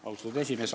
Austatud juhataja!